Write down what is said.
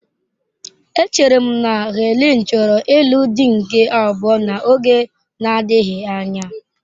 Echere m na Helen chọrọ ịlụ di nke abụọ n'oge na-adịghị anya.